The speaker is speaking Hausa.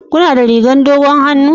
Kuna da rigar dogon hannu?